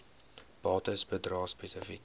bates bedrae spesifiek